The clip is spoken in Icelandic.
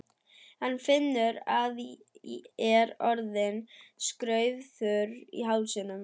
Hann finnur að hann er orðinn skraufþurr í hálsinum.